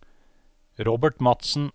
Robert Madsen